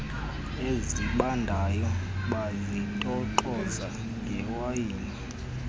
esibandayo bazitoxoza ngewayini